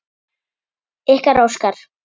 Ykkar, Óskar.